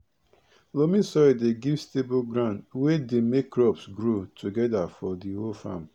loamy soil dey give stable ground we dey make crops grow togeda for di whole farm